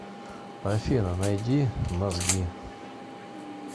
афина найди мозги